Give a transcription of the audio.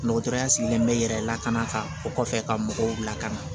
Dɔgɔtɔrɔya sigilen bɛ yɛrɛ lakana ka o kɔfɛ ka mɔgɔw lakana